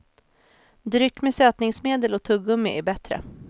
Dryck med sötningsmedel och tuggummi är bättre.